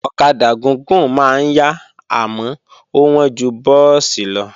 Ọ̀kadà gúgùn máa ń yá àmọ́ ó wọ́n ju búùsì lọ